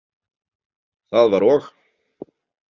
Það var og.